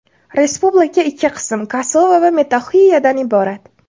Respublika ikki qism – Kosovo va Metoxiyadan iborat.